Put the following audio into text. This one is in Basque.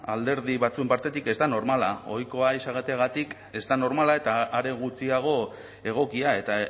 alderdi batzuen partetik ez da normala ohikoa izateagatik ez da normala eta are gutxiago egokia eta